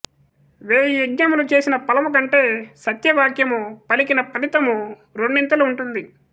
వేయి యజ్ఞములు చేసిన ఫలము కంటే సత్యవాక్యము పలికిన ఫలితము రెండితలు ఉంటుంది